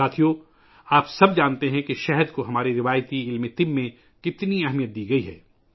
ساتھیو ، آپ سب جانتے ہیں کہ ہماری روایتی صحت سائنس میں شہد کو کتنی اہمیت دی گئی ہے